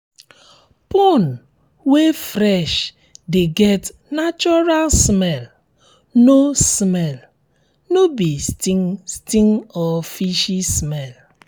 pond wey fresh de get natural um smell um no smell um no be stink stink or fishy smell